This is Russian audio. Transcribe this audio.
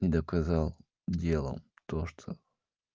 не доказал делом то что